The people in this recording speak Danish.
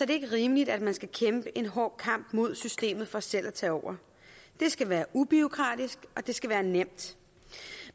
det ikke rimeligt at man skal kæmpe en hård kamp mod systemet for selv at tage over det skal være ubureaukratisk og det skal være nemt